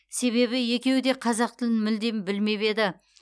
себебі екеуі де қазақ тілін мүлде білмеп еді